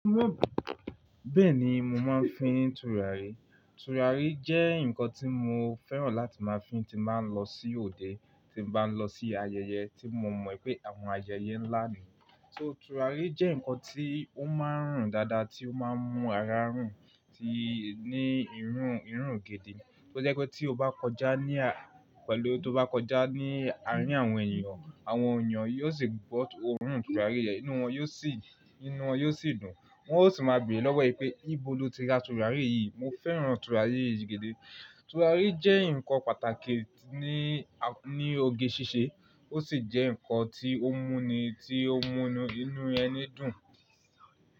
Bẹ́ẹ̀ni mo máa ń fín tùràrí. Tùràrí jẹ́ ǹkan tí mo fẹ́ràn láti máa fi ti máa ń lọ sí òde, tí mo bá ń lọ sí ayẹyẹ tí mo mọ̀ pé àwọn ayẹyẹ ńlá ni. So tùràrí jẹ́ ǹkan tí ó máa ń rùn dáadáa, tí ó máa ń mú ara rùn tí ní irún, irún gidi. Ó jẹ́ pé tí o bá kọjá ní a, pẹ̀lú tí o bá kọjá ní àárín àwọn ènìyàn, àwọn ènìyàn yóò sì gbóòórùn tùràrí yẹn, inú wọn yóò sì, inú wọn yóò sì dùn. Wọn ó sì máa béèrè lọ́wọ́ ẹ pé ìbò lo ti ra tùràrí yìí? Mo fẹ́ràn tùràrí yìí gidi. Tùràrí jẹ́ ǹkan pàtàkì ní, ní oge ṣíṣe ó sì jẹ́ ǹkan tí ó mú ni, tí ó mú inú ẹni dùn.